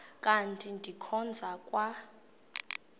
kanti ndikhonza kwa